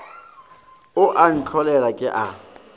o a ntlholela ke a